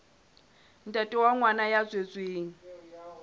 ntate wa ngwana ya tswetsweng